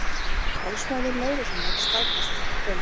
Talsmaður lögreglunnar staðfesti þetta í kvöld